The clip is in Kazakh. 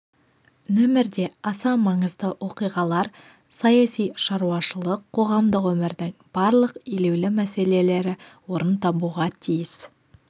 нөмірде аса маңызды оқиғалар саяси шаруашылық қоғамдық өмірдің барлық елеулі мәселелері орын табуға тиіс